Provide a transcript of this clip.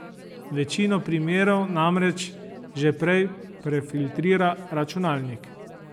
Večino primerov namreč že prej prefiltrira računalnik.